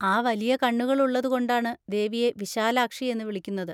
ആ, വലിയ കണ്ണുകൾ ഉള്ളതുകൊണ്ടാണ് ദേവിയെ വിശാലാക്ഷി എന്ന് വിളിക്കുന്നത്.